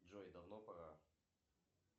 джой давно пора